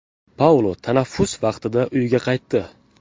Paulo tanaffus vaqtida uyiga qaytdi.